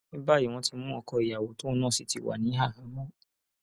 ní báyìí wọn ti mú ọkọ ìyàwó tóun náà sì ti wà ní àhámọ